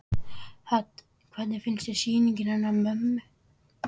Hödd: Hvernig finnst þér sýningin hennar mömmu?